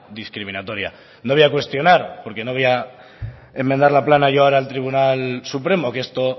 discriminatoria no voy a cuestionar porque no voy a enmendar la plana yo ahora al tribunal supremo que esto